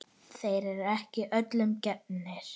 Þeir eru ekki öllum gefnir.